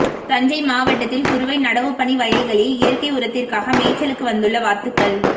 தஞ்சை மாவட்டத்தில் குறுவை நடவுப்பணி வயல்களில் இயற்கை உரத்திற்காக மேய்ச்சலுக்கு வந்துள்ள வாத்துகள்